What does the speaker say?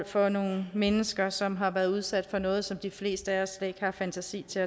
for nogle mennesker som har været udsat for noget som de fleste af os slet ikke har fantasi til